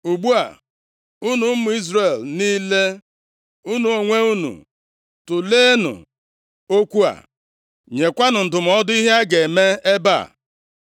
Ugbu a, unu ụmụ Izrel niile, unu onwe unu tụleenụ okwu a, nyekwanụ ndụmọdụ ihe a ga-eme ebe a.”